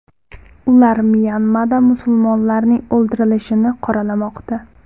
Ular Myanmada musulmonlarning o‘ldirilishini qoralamoqda.